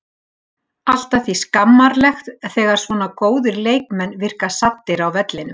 Allt að því skammarlegt þegar svona góðir leikmenn virka saddir á vellinum.